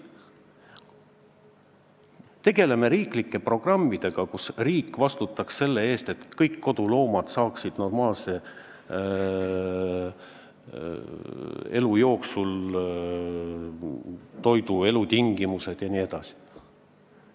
Tegeleme riiklike programmidega, nii et riik vastutaks selle eest, et kõik koduloomad saaksid elu jooksul toitu, normaalsed elutingimused jne!